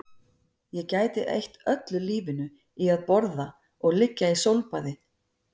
Ég gæti eytt öllu lífinu í að borða og liggja í sólbaði